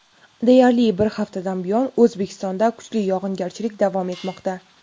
Deyarli bir haftadan buyon O‘zbekistonda kuchli yog‘ingarchilik davom etmoqda.